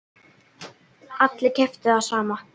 Allir keyptu það sama.